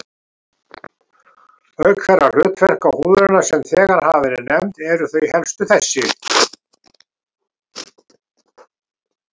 Auk þeirra hlutverka húðarinnar, sem þegar hafa verið nefnd, eru þau helstu þessi